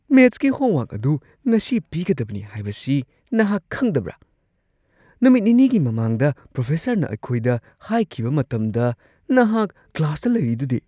ꯃꯦꯊꯁꯀꯤ ꯍꯣꯝꯋꯔꯛ ꯑꯗꯨ ꯉꯁꯤ ꯄꯤꯒꯗꯕꯅꯤ ꯍꯥꯏꯕꯁꯤ ꯅꯍꯥꯛ ꯈꯪꯗꯕ꯭ꯔꯥ? ꯅꯨꯃꯤꯠ ꯅꯤꯅꯤꯒꯤ ꯃꯃꯥꯡꯗ ꯄ꯭ꯔꯣꯐꯦꯁꯔꯅ ꯑꯩꯈꯣꯏꯗ ꯍꯥꯏꯈꯤꯕ ꯃꯇꯝꯗ ꯅꯍꯥꯛ ꯀ꯭ꯂꯥꯁꯇ ꯂꯩꯔꯤꯗꯨꯗꯤ ꯫